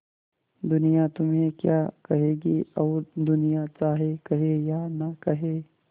दुनिया तुम्हें क्या कहेगी और दुनिया चाहे कहे या न कहे